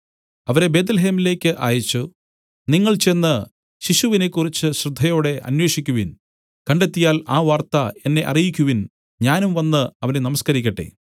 അവരെ ബേത്ത്ലേഹേമിലേക്കു അയച്ചു നിങ്ങൾ ചെന്ന് ശിശുവിനെക്കുറിച്ച് ശ്രദ്ധയോടെ അന്വേഷിക്കുവിൻ കണ്ടെത്തിയാൽ ആ വാർത്ത എന്നെ അറിയിക്കുവിൻ ഞാനും വന്നു അവനെ നമസ്കരിക്കട്ടെ